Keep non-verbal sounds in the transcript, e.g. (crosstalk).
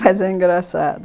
Mas é engraçado (laughs)